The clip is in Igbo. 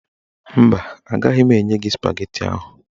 Mba, agaghị m enye gị spageti ahụ